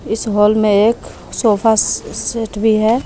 इस हाल में एक सोफा सेट भी है।